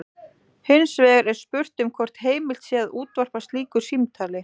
Hins vegar er spurt um hvort heimilt sé að útvarpa slíku símtali.